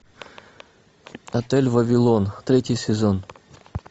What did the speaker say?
отель вавилон третий сезон